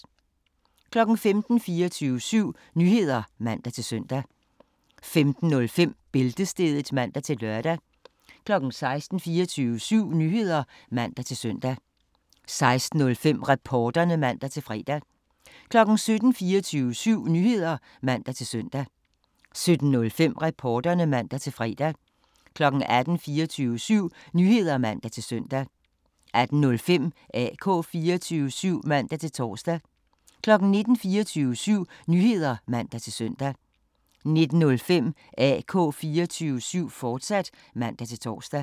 15:00: 24syv Nyheder (man-søn) 15:05: Bæltestedet (man-lør) 16:00: 24syv Nyheder (man-søn) 16:05: Reporterne (man-fre) 17:00: 24syv Nyheder (man-søn) 17:05: Reporterne (man-fre) 18:00: 24syv Nyheder (man-søn) 18:05: AK 24syv (man-tor) 19:00: 24syv Nyheder (man-søn) 19:05: AK 24syv, fortsat (man-tor)